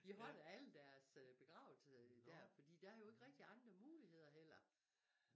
De holder alle deres begravelser der fordi der jo ikke rigtig andre muligheder heller